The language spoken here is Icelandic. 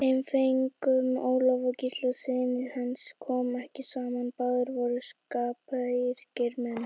Þeim feðgum, Ólafi og Gísla syni hans, kom ekki saman, báðir voru skapríkir menn.